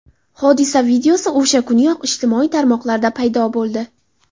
Hodisa videosi o‘sha kuniyoq ijtimoiy tarmoqlarda paydo bo‘ldi.